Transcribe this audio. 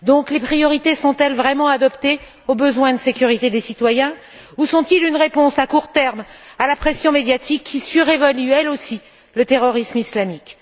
Les priorités sont elles donc vraiment adaptées au besoin de sécurité des citoyens, ou sont elles une réponse à court terme à la pression médiatique qui surévalue, elle aussi, le terrorisme islamique?